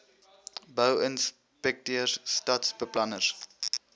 bou inspekteurs stadsbeplanners